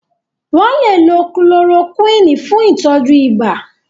Wọ́n lè lo kulorokúìnì fún ìtọ́jú ibà.